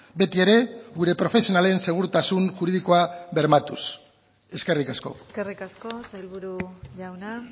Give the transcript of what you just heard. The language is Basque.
beti ere gure profesionalen segurtasun juridikoa bermatuz eskerrik asko eskerrik asko sailburu jauna